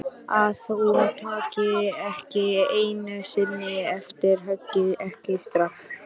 Að hún taki ekki einu sinni eftir höggi, ekki strax.